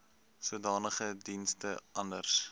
sodanige dienste anders